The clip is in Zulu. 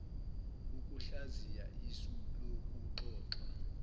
ukuhlaziya isu lokuxoxwa